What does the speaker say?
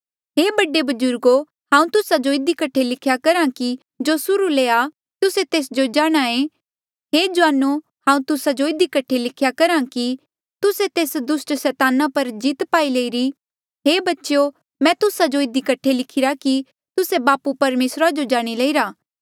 हे बडे बजुर्गो हांऊँ तुस्सा जो इधी कठे लिख्या करहा कि जो सुर्हू ले आ तुस्से तेस जो जाणहां ऐें हे जुआनो हांऊँ तुस्सा जो इधी कठे लिख्हा कि तुस्से तेस दुस्ट सैताना पर जीत पाई लईरी हे बच्चेयो मैं तुस्सा जो इधी कठे लिखिरा कि तुस्से बापू परमेसरा जो जाणी लईरा